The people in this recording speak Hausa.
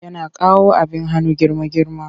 Yana kawo abin hannu girma-girma.